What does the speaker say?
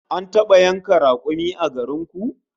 An taba yanka rakumi a garin ku?